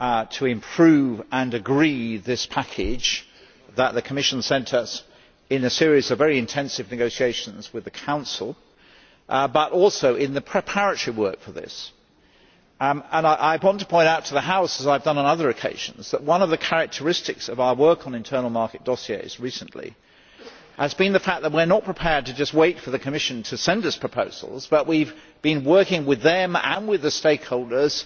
to improve and agree this package that the Commission sent us, in a series of very intensive negotiations with the Council, but also in the preparatory work for this. I want to point out to the House, as I have done on other occasions, that one of the characteristics of our work on internal market dossiers recently has been the fact that we are not prepared to just wait for the Commission to send us proposals, but we had been working with them and with the stakeholders,